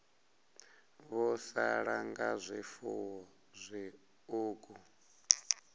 vho sala nga zwifuwo zwiṱuku